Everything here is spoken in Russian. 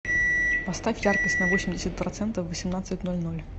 поставь яркость на восемьдесят процентов в восемнадцать ноль ноль